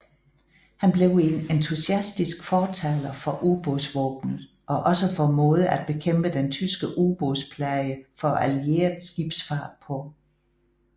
Han blev en entusiastisk fortaler for ubådsvåbenet og også for måder at bekæmpe den tyske ubådsplage for allieret skibsfart på